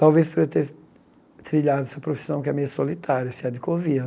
Talvez por eu ter trilhado essa profissão que é meio solitária, você há de convir.